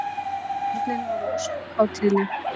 Börnin voru ósköp hátíðleg.